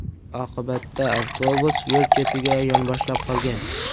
Oqibatda avtobus yo‘l chetiga yonboshlab qolgan.